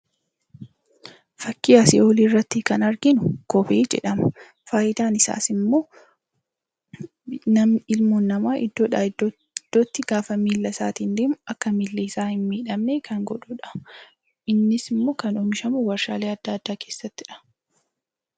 Fakkii asii olii irratti kan arginu kophee jedhama. Faayidaan isaas immoo ilmoon namaa iddoodhaa iddootti gaafa miila isaatiin deemu akka miilli isaa hin miidhamne kan godhuudha innis immoo kan oomishamu warshaalee adda addaa keessattidha.